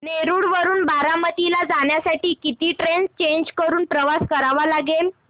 नेरळ वरून बारामती ला जाण्यासाठी किती ट्रेन्स चेंज करून प्रवास करावा लागेल